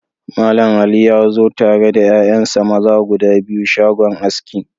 Mallam Ali ya zo tare da 'ya'yansa maza guda biyu shagon aski.